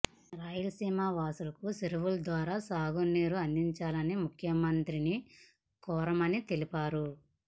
రాయలసీమ వాసులకు చెరువులు ద్వారా సాగునీరు అందించాలని ముఖ్యమంత్రిని కోరామని తెలిపారు